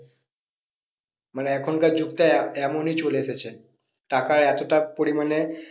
মানে এখনকার যুগটা এমনই চলে এসেছে, টাকায় এতটা পরিমানে